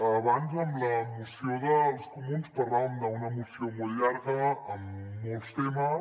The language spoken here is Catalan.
abans en la moció dels comuns parlàvem d’una moció molt llarga amb molts temes